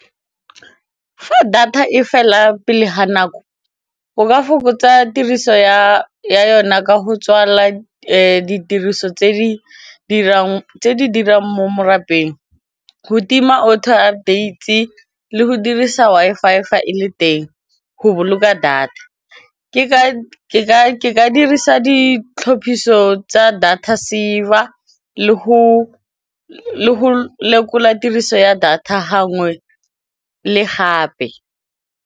Fa data e fela pele ga nako o ka fokotsa tiriso ya yona ka go tswalela ditiriso tse di dirang mo morapeng, go tima auto updates le go dirisa Wi-Fi fa e le teng go boloka data ke ka dirisa ditlhophiso tsa data saver le go lekola tiriso ya data gangwe le gape.